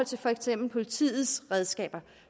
til for eksempel politiets redskaber